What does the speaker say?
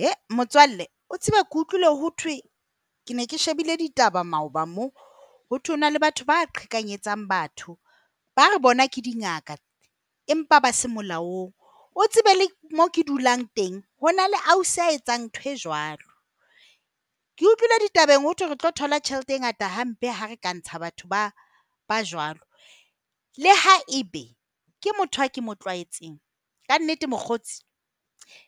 He, motswalle. O tsebe ke utlwile hothwe, ke ne ke shebile ditaba maoba mona. Ho thwe ho na le batho ba qhekanyetsa batho ba re bona ke dingaka empa ba se molaong. O tsebe le moo ke dulang teng ho na le ausi a etsang ntho e jwalo. Ke utlwile ditabeng ho thwe re tlo thola tjhelete e ngata hampe ha re ka ntsha batho ba ba jwalo. Le ha ebe ke motho e ke mo tlwaetseng. Ka nnete mokgotsi